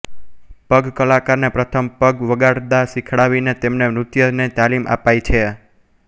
પંગ કલાકારને પ્રથમ પંગ વગાડતા શીખવાડીને તેમને નૃત્ય ની તાલિમ અપાય છે